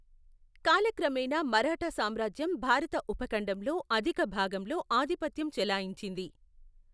కాలక్రమేణా, మరాఠా సామ్రాజ్యం భారత ఉపఖండంలో అధిక భాగంలో ఆధిపత్యం చెలాయించింది.